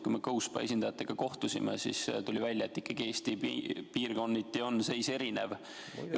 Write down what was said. Kui me GoSpa esindajatega kohtusime, siis tuli välja, et piirkonniti on Eestis seis ikkagi erinev.